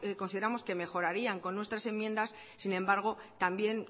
consideramos que mejorarían con nuestras enmiendas sin embargo también